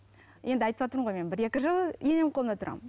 енді айтып отырмын ғой мен бір екі жыл енемнің қолында тұрамын